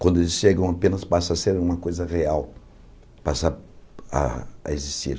Quando eles chegam, apenas passa a ser uma coisa real, passa a a existir.